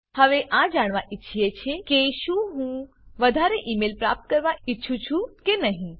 હવે આ જાણવા ઈચ્છે છે કે શું હું વધારે ઇ મેઇલ પ્રાપ્ત કરવા ઈચ્છું છું કે નહી